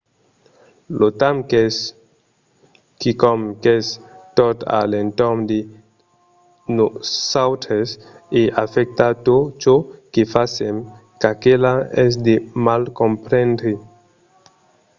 lo temps es quicòm qu’es tot a l’entorn de nosautres e afècta tot çò que fasèm çaquelà es de mal comprendre